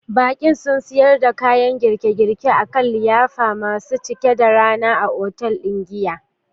Baƙi sun siyar da kayan girkin girki a kan filaye masu cike da rana a otal ɗin giya.